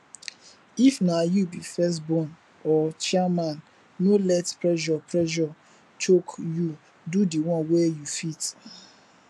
if na you be first born or chairman no let pressure pressure choke you do di one wey you fit